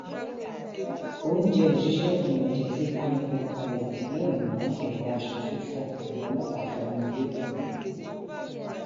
oúnjẹ lọṣíṣe kan lóò jẹ tí kánù fi palẹ bùpà ẹ mọ ẹrọ asọfọfọ làwọn ọlọpàá fi mú un lẹkọọ